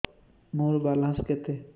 ମୋର ବାଲାନ୍ସ କେତେ